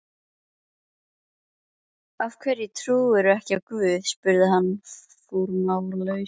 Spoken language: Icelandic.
Af hverju trúirðu ekki á guð? spurði hann formálalaust.